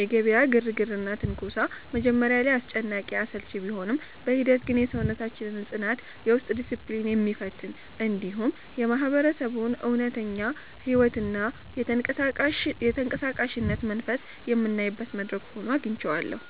የገበያው ግርግርና ትንኮሳ መጀመሪያ ላይ አስጨናቂና አሰልቺ ቢሆንም፣ በሂደት ግን የሰውነታችንን ጽናትና የውስጥ ዲስፕሊን የሚፈትን፣ እንዲሁም የማህበረሰቡን እውነተኛ ሕይወትና የተንቀሳቃሽነት መንፈስ የምናይበት መድረክ ሆኖ አግኝቼዋለሁ።